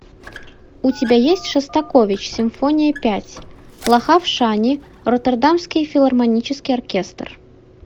у тебя есть шостакович симфония пять лахав шани роттердамский филармонический оркестр